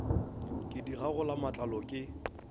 ke di gagola matlalo ke